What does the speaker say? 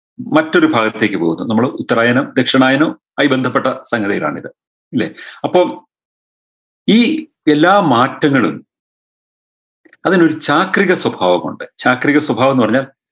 മറ്റൊരു ഭാഗത്തേക്ക് പോകുന്നു നമ്മള് ഉത്തരായനം ദക്ഷിണായനം ആയി ബന്ധപ്പെട്ട സംഗതികളാണിത് ഇല്ലേ അപ്പൊ ഈ എല്ലാ മാറ്റങ്ങളും അതിനൊരു ചാക്രിക സ്വഭാവമുണ്ട് ചാക്രിക സ്വഭാവമെന്ന് പറഞ്ഞാൽ